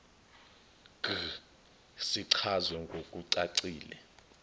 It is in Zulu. g sichazwe ngokucacile